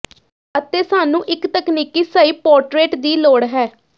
ਅਤੇ ਸਾਨੂੰ ਇੱਕ ਤਕਨੀਕੀ ਸਹੀ ਪੋਰਟਰੇਟ ਦੀ ਲੋੜ ਹੈ